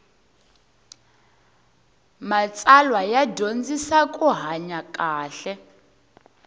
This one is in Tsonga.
matsalwa ya dyondzisa ku hanya kahle